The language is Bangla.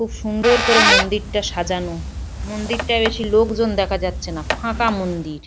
খুব সুন্দর করে মন্দিরটা সাজানো। মন্দিরটায় বেশি লোকজন দেখা যাচ্ছে না ফাঁকা মন্দির।